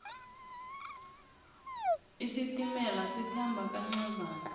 isitimela sikhamba kancazana